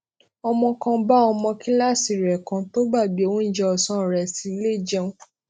ọmọ kan bá ọmọ kíláàsì rè kan tó gbàgbé oúnjẹ òsán rè sílé jẹun